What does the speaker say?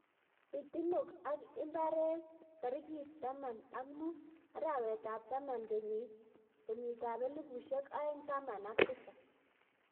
pitinog ap imbireet tarigit taman ak muut, araweet ap taman kenyitap elipusieg aeng taman ak tisap